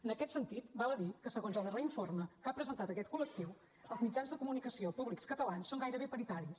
en aquest sentit val a dir que segons els darrer informe que ha presentat aquest col·lectiu els mitjans de comunicació públics catalans són gairebé paritaris